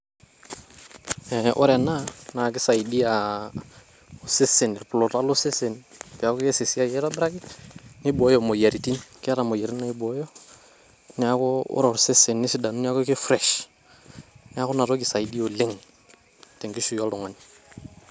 Ore ena naa keisaidia oosesen, irpuluta lo sesen peaku keas esiai aitobiraki neibooyo imoyiaritin keeta imoyiaritin naibooyo niaku ore osesen nesidanu niaku ki fresh. Niaku ina toki isaidia oleng te nkishui oltung`ani.